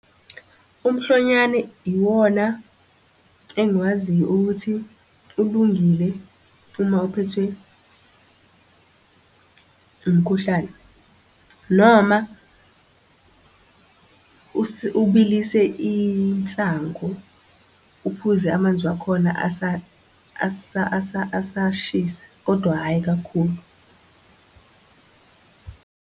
Umhlonyane iwona engikwaziyo ukuthi ulungile uma uphethwe umkhuhlane, noma ubilise insangu uphuze amanzi wakhona asashisa, kodwa hhayi kakhulu .